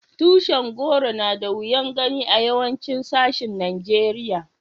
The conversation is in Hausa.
Tushin goro na da wiyan gani a yawancin sashin Nijeriya.